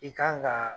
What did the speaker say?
I kan ka